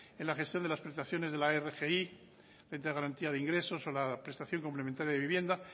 en la gestión de las prestaciones de la rgi renta de garantía de ingresos o la prestación complementaria de vivienda